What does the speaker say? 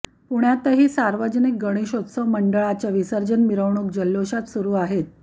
पुण्यातही सार्वजनिक गणेशोत्सव मंडळाच्या विसर्जन मिरवणूक जल्लोषात सुरू आहेत